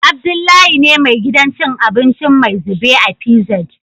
Abdullahi ne me gidan cin abinci "maizube " a PZ